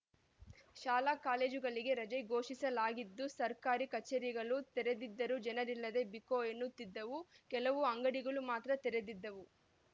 ಶಾಲಾ ಕಾಲೇಜು ಗಳಿಗೆ ರಜೆ ಘೋಷಿಸಲಾಗಿತ್ತು ಸರ್ಕಾರಿ ಕಚೇರಿಗಳು ತೆರೆದಿದ್ದರೂ ಜನರಿಲ್ಲದೆ ಬಿಕೋ ಎನ್ನುತ್ತಿದ್ದವು ಕೆಲವು ಅಂಗಡಿಗಳು ಮಾತ್ರ ತೆರೆದಿದ್ದವು